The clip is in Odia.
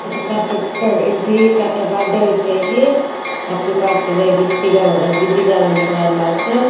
ଏଠି କାର୍ ଟେ ବା ଡେ ହୋଉଚେ ଯାଇକି ହାପି ବାର୍ ଡେ ରେ ଭିତ୍ ତିକା ବ ବିଦିକା ବୋଲେ ଲେଖା ହେଲା ଚତ୍ --